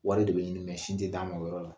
Wari de bɛ ɲini mɛ sin tɛ d'a ma o yɔrɔ la.